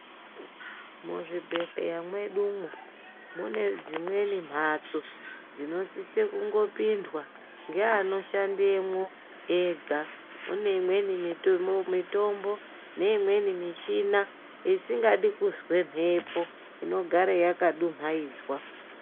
Muzvibhedhleya mwedumwo mune dzimweni mhatso dzinosise kungopindwa ngeanoshandemwo ega. Mune imweni mitombo, neimweni michina isingadi kuzwe mhepo inogare yakadu mhaidzwa.